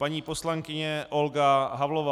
Paní poslankyně Olga Havlová.